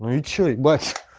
ну и что ебать